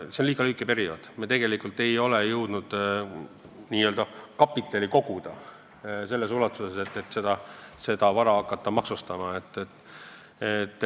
See on liiga lühike periood, me ei ole tegelikult jõudnud selle aja jooksul veel kapitali koguda selles ulatuses, et hakata vara maksustama.